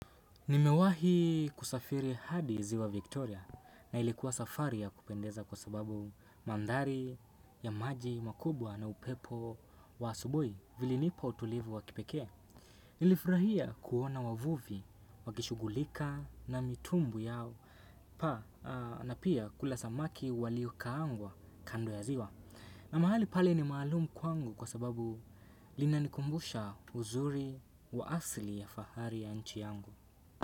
Nimewahi kusafiri hadi ziwa Victoria na ilikuwa safari ya kupendeza kwa sababu mandhari ya maji makubwa na upepo wa asubui vilinipa utulivu wa kipekee. Nilifurahia kuona wavuvi wakishughulika na mitumbwi yao na pia kula samaki waliokaangwa kando ya ziwa. Na mahali pale ni maalumu kwangu kwa sababu linanikumbusha uzuri wa asili ya fahari ya nchi yangu.